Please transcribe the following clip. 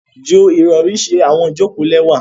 Ju irọri ṣe awọn ijoko lẹwa.